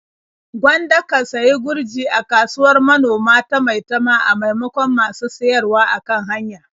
Gwanda ka sayi gurji a kasuwar manoma ta Maitama a maimakon masu siyarwa a kan hanya.